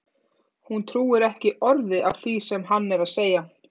Hún trúir ekki orði af því sem hann er að segja!